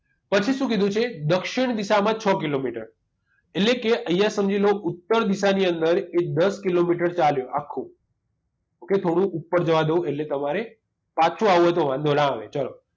પછી શું કીધું છે દક્ષિણ દિશામાં છ કિલોમીટર એટલે કે અહીંયા સમજી લો ઉત્તર દિશાની અંદર એ દસ કિલોમીટર ચાલ્યો આખું okay થોડું ઉપર જવા દઉં એટલે તમારે પાછું આવવું હોય તો વાંધો ન આવે ચાલો